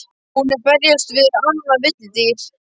Hún er að berjast við annað villidýr.